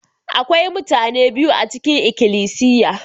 Akwai mutane biyu a cikin ikilisiya.